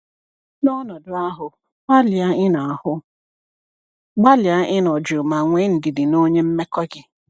N’ọnọdụ ahụ, gbalịa ịnọ ahụ, gbalịa ịnọ jụụ ma nwee ndidi na onye mmekọ gị.